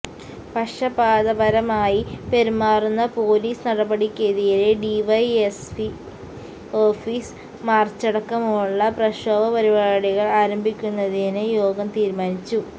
പക്ഷപാതപരമായി പെരുമാറുന്ന പോലീസ് നടപടിക്കെതിരെ DYSP office മാര്ച്ചടക്കമുള്ള പ്രക്ഷോഭ പരിപാടികള് ആരംഭിക്കുന്നതിന് യോഗം തീരുമാനിച്ചു